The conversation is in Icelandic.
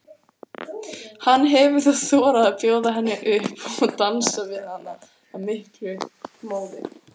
Hann hefur þá þorað að bjóða henni upp og dansar við hana af miklum móði.